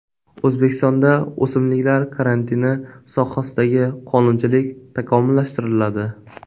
O‘zbekistonda o‘simliklar karantini sohasidagi qonunchilik takomillashtiriladi.